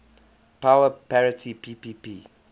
power parity ppp